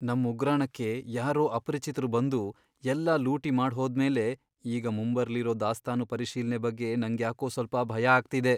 ನಮ್ ಉಗ್ರಾಣಕ್ಕೆ ಯಾರೋ ಅಪರಿಚಿತ್ರು ಬಂದು ಎಲ್ಲ ಲೂಟಿ ಮಾಡ್ಹೋದ್ಮೇಲೆ ಈಗ ಮುಂಬರ್ಲಿರೋ ದಾಸ್ತಾನು ಪರಿಶೀಲ್ನೆ ಬಗ್ಗೆ ನಂಗ್ಯಾಕೋ ಸ್ವಲ್ಪ ಭಯ ಆಗ್ತಿದೆ.